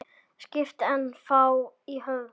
Skipið er ennþá í höfn.